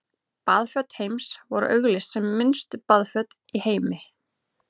Baðföt Heims voru auglýst sem minnstu baðföt í heimi.